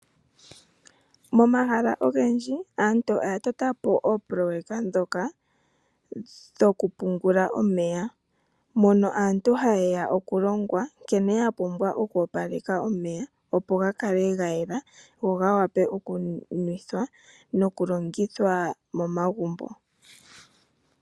Momahala ogendji aantu oya tota po oopoloyeka ndhoka dhoku pungula omeya. Mono aantu haye ya oku longwa nkene ya pumbwa oku opaleka omeya, opo ga kale ga yela go ga wape okunuwa nokulongithwa momagumbo.